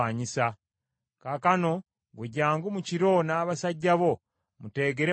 Kaakano, ggwe jjangu mu kiro n’abasajja bo muteegere mu nnimiro.